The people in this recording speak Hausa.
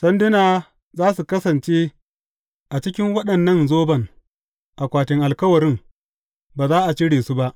Sanduna za su kasance a cikin waɗannan zoban akwatin alkawarin; ba za a cire su ba.